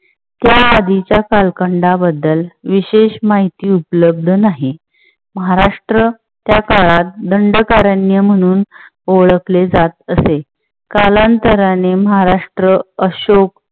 त्या आधीच्या कालखंडा बद्दल विशेष माहिती उपलब्ध नाही. महाराष्ट्र त्या काळात दंडकारण्य म्हणून ओळखले जात असे. कालांतराने महाराष्ट्र अशोक